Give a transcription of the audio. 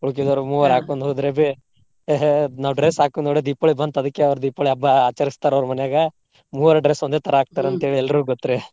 ಉಳ್ಕಿದವ್ರ ಮೂವರ ಹಾಕೊಂದ ಹೋದ್ರಬಿ ನಾವ್ dress ಹಾಕೋದ ನೋಡೇ ದೀಪಾವಳಿ ಬಂತ ಅದ್ಕೆ ಅವ್ರ ದೀಪಾವಳಿ ಹಬ್ಬಾ ಆಚರಸ್ತಾರ ಅವ್ರ ಮನ್ಯಾಗ ಮೂವರ್ dress ಒಂದೇ ತರಾ ಹಾಕ್ತಾರಂತ ಹೇಳಿ ಎಲ್ರಿಗು ಗೊತ್ತ್ರಿ.